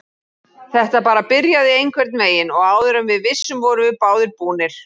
Þetta bara byrjaði einhvernveginn og áður en við vissum vorum við báðir búnir.